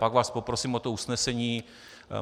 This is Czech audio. Pak vás poprosím o to usnesení.